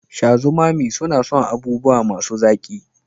Shazumami suna son abubuwa masu zaƙi